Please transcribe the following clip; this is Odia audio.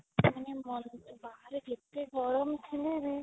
ମାନେ ବାହାରେ ଯେତେ ଗରମ ଥିଲେ ବି